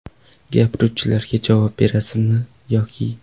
Gapiruvchilarga javob berasizmi, yoki?